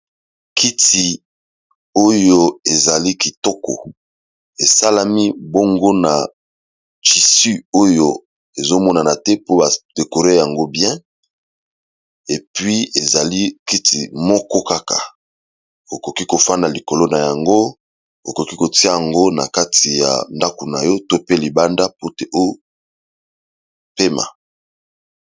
Kiti oyo eza kitoko esalami bongo na tissu oyo ezomonana te po ba décor yango bien puis ezali kiti moko kaka okoki KO fanda likolo nayango ,okoki tiya yango na ndako nayo pe libanda po opema.